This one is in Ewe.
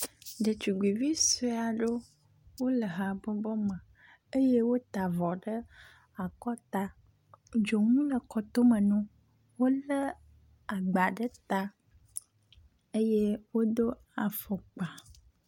Ɖetugbivi sue aɖewo le habɔbɔ aɖe me eye wota avɔ ɖe akɔta. Dzonu le kɔtome na wo wolé agba ɖe ta eye wodo afɔkpa.